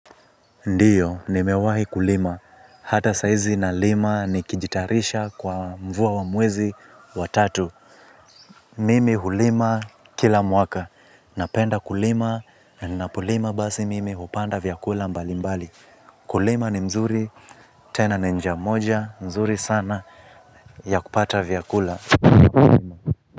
Ndiyo, nimewahi kulima. Hata saizi nalima nikijitarisha kwa mvua wa mwezi wa tatu. Mimi hulima kila mwaka. Napenda kulima na ninapolima basi mimi hupanda vyakula mbalimbali. Kulima ni mzuri tena ni njia moja. Mzuri sana ya kupata vyakula.